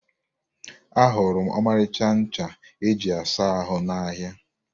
Ahụrụ m ọmarịcha ncha e ji asa ahụ n'ahịa.